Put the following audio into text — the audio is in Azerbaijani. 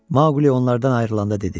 Maquli onlardan ayrılanda dedi: